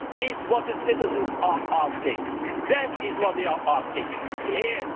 That is what the citizens are asking for